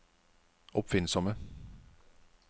oppfinnsomme